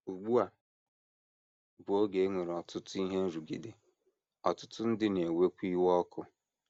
Ugbu a bụ oge e nwere ọtụtụ ihe nrụgide, ọtụtụ ndị na - ewekwa iwe ọkụ.